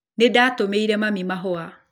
Nĩndatũmĩire mami mahũa